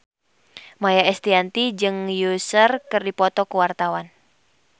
Maia Estianty jeung Usher keur dipoto ku wartawan